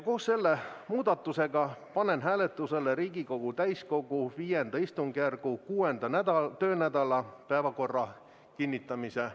Koos selle muudatusega panen hääletusele Riigikogu täiskogu V istungjärgu 6. töönädala päevakorra kinnitamise.